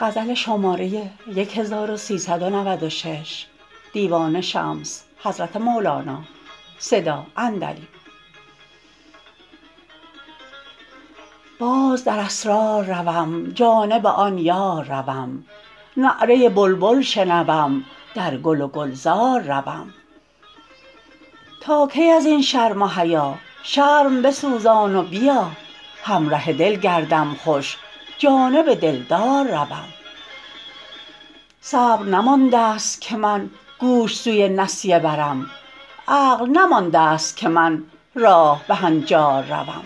باز در اسرار روم جانب آن یار روم نعره بلبل شنوم در گل و گلزار روم تا کی از این شرم و حیا شرم بسوزان و بیا همره دل گردم خوش جانب دلدار روم صبر نمانده ست که من گوش سوی نسیه برم عقل نمانده ست که من راه به هنجار روم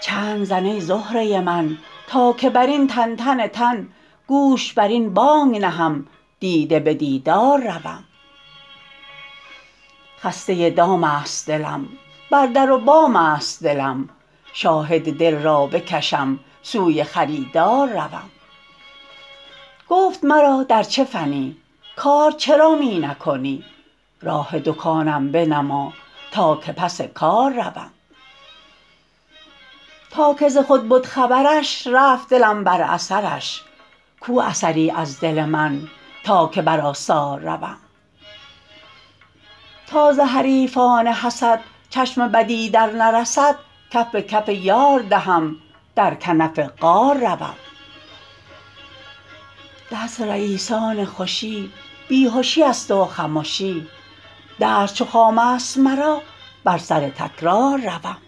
چنگ زن ای زهره من تا که بر این تنتن تن گوش بر این بانگ نهم دیده به دیدار روم خسته دام است دلم بر در و بام است دلم شاهد دل را بکشم سوی خریدار روم گفت مرا در چه فنی کار چرا می نکنی راه دکانم بنما تا که پس کار روم تا که ز خود بد خبرش رفت دلم بر اثرش کو اثری از دل من تا که بر آثار روم تا ز حریفان حسد چشم بدی درنرسد کف به کف یار دهم در کنف غار روم درس رییسان خوشی بی هشی است و خمشی درس چو خام است مرا بر سر تکرار روم